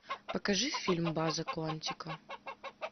покажи фильм база куантико